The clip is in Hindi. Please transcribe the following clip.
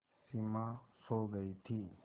सिमा सो गई थी